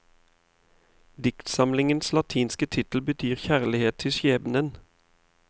Diktsamlingens latinske tittel betyr kjærlighet til skjebnen.